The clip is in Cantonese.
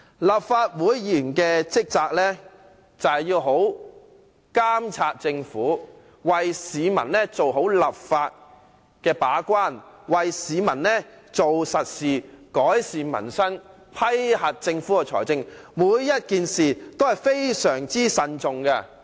立法會議員的職責是好好監察政府，為市民做好立法和把關工作，為市民做實事，改善民生，審批政府的財政撥款申請，每個事項均要非常謹慎地進行。